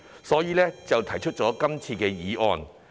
因此，政府便提出這項議案。